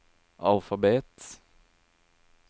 alfabet